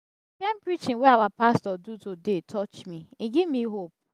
e get people wey no get money visit hospital um i go pay for dem